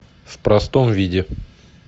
в простом виде